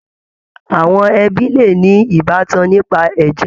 Àwọn ẹbí le ní ìbátan nípa ẹ̀jẹ̀.